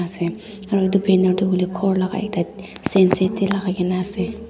ase aru edu banner tu hoilae khor laka ekta senset tae lakaikaena ase.